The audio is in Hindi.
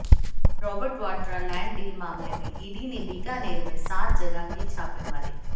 रॉबर्ट वाड्रा लैंड डील मामले में ईडी ने बीकानेर में सात जगह की छापेमारी